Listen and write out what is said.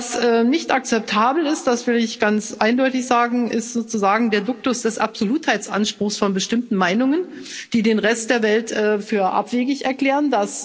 Was nicht akzeptabel ist, das will ich ganz eindeutig sagen, ist sozusagen der Duktus des Absolutheitsanspruchs von bestimmten Meinungen, die den Rest der Welt für abwegig erklären.